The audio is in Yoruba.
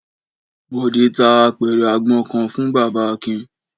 Bọ̀dé ta apẹ̀rẹ̀ àgbọn kan fún bàbá Akin.